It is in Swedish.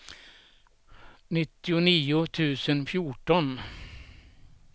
nittionio tusen fjorton